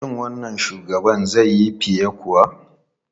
Shin wannan shugaban zai yi fiye kuwa?